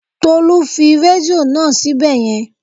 Tolú fi rédíò náà síbẹ̀ yẹn